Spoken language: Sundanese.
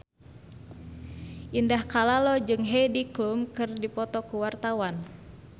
Indah Kalalo jeung Heidi Klum keur dipoto ku wartawan